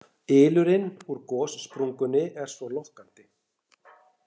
Ylurinn úr gossprungunni er svo lokkandi